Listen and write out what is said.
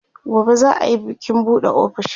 gobe za'a Yi bikin buɗe ofishin